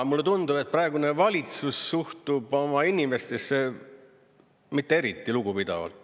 Mulle tundub, et praegune valitsus suhtub oma inimestesse mitte eriti lugupidavalt.